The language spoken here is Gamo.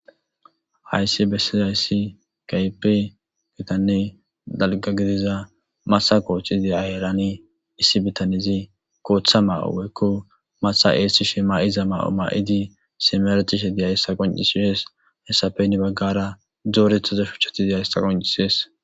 Hayssi besishe dizzay gitane dalga giddidasan issi bittaney matha go77anne matha essishe mayzza mayo mayidi simeretishe dizzaysa qonccises.hessape hini bagara dorretida shuchay dizzayssa qonccisses.